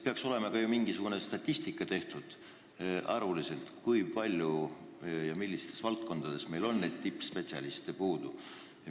Peaks olema ka mingisugune statistika arvuliselt tehtud, kui palju ja millistes valdkondades meil neid tippspetsialiste puudu on.